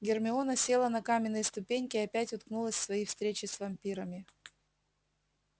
гермиона села на каменные ступеньки и опять уткнулась в свои встречи с вампирами